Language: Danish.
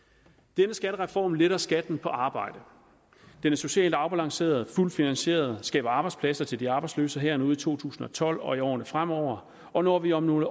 denne skattereform letter skatten på arbejde den er socialt afbalanceret og fuldt finansieret skaber arbejdspladser til de arbejdsløse her og nu i to tusind og tolv og i årene fremover og når vi om nogle